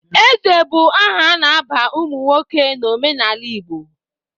Eze bụ aha a na-aba ụmụ nwoke n'omenala Igbo.